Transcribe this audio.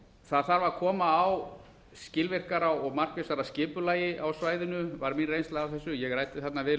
það þarf að koma á skilvirkara og markvissara skipulagi á svæðinu var mín reynsla af þessu ég ræddi þarna við